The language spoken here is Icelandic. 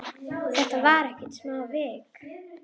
En þetta var ekkert smávik.